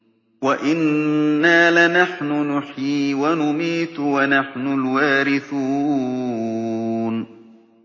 وَإِنَّا لَنَحْنُ نُحْيِي وَنُمِيتُ وَنَحْنُ الْوَارِثُونَ